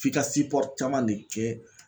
F'i ka sipɔr caman de kɛ